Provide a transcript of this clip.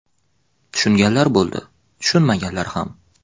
Tushunganlar bo‘ldi, tushunmaganlar ham.